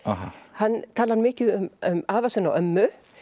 hann talar mikið um afa sinn og ömmu